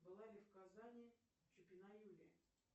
была ли в казани чупина юлия